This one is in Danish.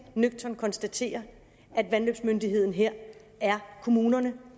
nøgternt konstaterer at vandløbsmyndigheden her er kommunen